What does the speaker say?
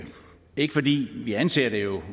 ikke fordi vi anser det jo